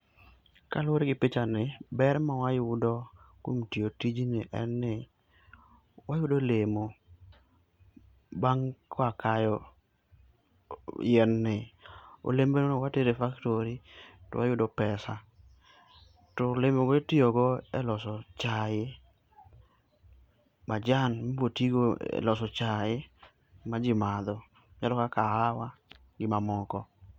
Kaluore gi pichani, ber mawayudo kuom tiyo tijni en ni wayudo olemo bang' ka wakayo yien ni. Olembeno watero e factory to wayudo pesa. To olemogo watiyo go e loso chai, majan mibo tigo e loso chai ma jii madho. ka kahawa gi mamoko